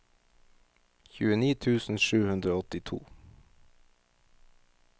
tjueni tusen sju hundre og åttito